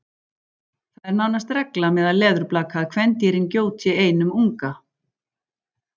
Það er nánast regla meðal leðurblaka að kvendýrin gjóti einum unga.